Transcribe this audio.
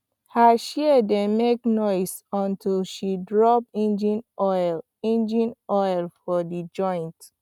her shears dey make noise until she drop engine oil engine oil for the joint